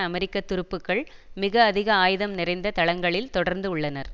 அமெரிக்க துருப்புக்கள் மிக அதிக ஆயுதம் நிறைந்த தளங்களில் தொடர்ந்து உள்ளனர்